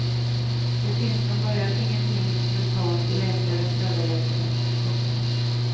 Det finns från början ingenting brutalt i läkarens överläge. punkt